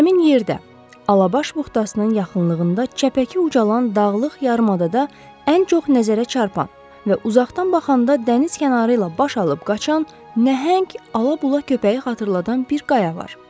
Həmin yerdə Alabaş buxtasının yaxınlığında çəpəki ucalan dağlıq yarımadada ən çox nəzərə çarpan və uzaqdan baxanda dəniz kənarı ilə baş alıb qaçan nəhəng ala-bula köpəyi xatırladan bir qaya var.